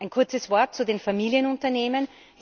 Ein kurzes Wort zu den Familienunternehmen.